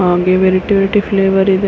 ಅಲ್ಲಿ variety variety flavour ಇದೆ